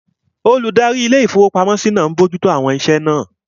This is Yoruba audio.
Olùdarí ilé-ìfowópamọ́sí náà n bojú tó àwọn iṣẹ́ náà